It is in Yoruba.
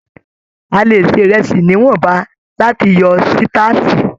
A lè ṣe ìrẹsì níwọ̀nba láti yọ sitaasi.